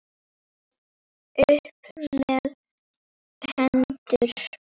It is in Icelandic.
Upp með hendur!